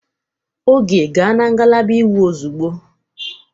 Oge, gaa na ngalaba iwu ozugbo!